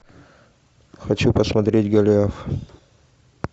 хочу посмотреть голиаф